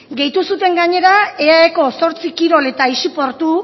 gehitu zuten gainera eaeko zortzi kirol eta aisi portu